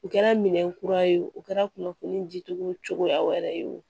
U kɛra minɛ kura ye o kɛra kunnafoni ji cogo wɛrɛ ye o